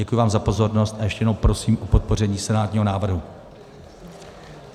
Děkuji vám za pozornost a ještě jednou prosím o podpoření senátního návrhu.